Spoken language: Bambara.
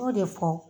Y'o de fɔ